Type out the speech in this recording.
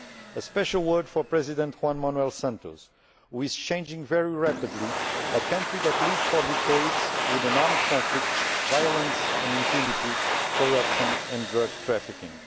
A special word for President Juan Manuel Santos, who is changing very rapidly a country that lived for decades with an armed conflict, violence and impunity, corruption and drug trafficking.